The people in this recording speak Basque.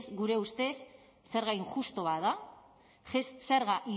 gure ustez zerga injustu bat da zerga